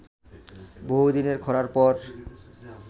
বহুদিনের খরার পর